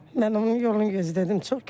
Mən onun yolunu gözlədim.